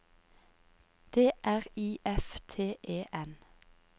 D R I F T E N